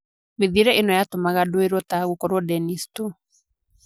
Mĩthiĩre ĩno yatũmaga ndũĩrwo ta "gũkorwo Dennis" tu.